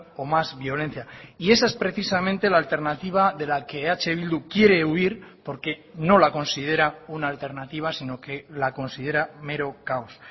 o más violencia y esa es precisamente la alternativa de la que eh bildu quiere huir porque no la considera una alternativa sino que la considera mero caos